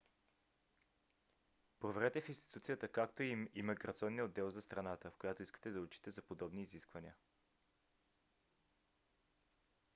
проверете в институцията както и имиграционния отдел за страната в която искате да учите за подробни изисквания